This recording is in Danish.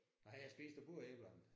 Har han spist af begge æblerne?